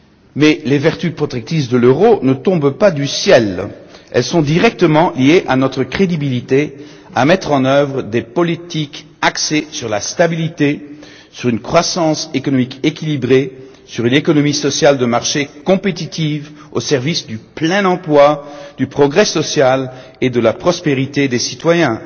Mais les vertus protectrices de l'euro ne tombent pas du ciel elles sont directement liées à notre capacité à mettre en œuvre des politiques axées sur la stabilité, sur une croissance économique équilibrée, sur une économie sociale de marché compétitive au service du plein emploi, du progrès social et de la prospérité des citoyens.